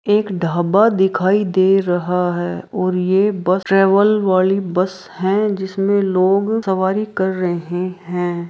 एक ढाबा दिखाई दे रहा है और ये बस ट्रैवल वाली बस है जिसमे लोग सवारी कर रहे है।